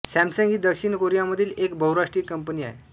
Samsung ही दक्षिण कोरियामधील एक बहुराष्ट्रीय कंपनी आहे